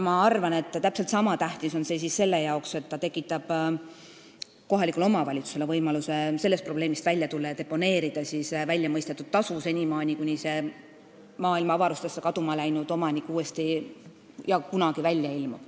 Ma arvan, et täpselt niisama tähtis on see seadus selle jaoks, et ta tekitab kohalikule omavalitsusele võimaluse sellest probleemist välja tulla ja deponeerida väljamõistetud tasu, kuni see maailma avarustesse kaduma läinud omanik kunagi uuesti välja ilmub.